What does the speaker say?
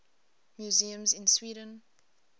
museums in sweden